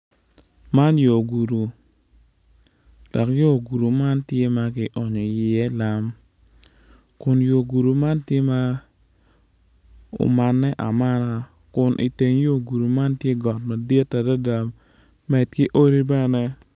Man atura dok atura man tye madwong adada kun bene nyig kic acel tye ma opye i kom atura man dok nyig kic man tye ka cwiyo moc ature man.